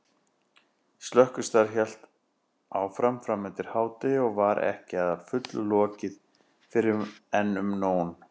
Slökkvistarf hélt áfram framundir hádegi og var ekki að fullu lokið fyrren um nón.